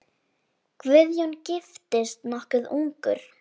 Guðjón giftist nokkuð ungur.